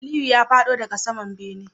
Aliyu ya fado daga saman bene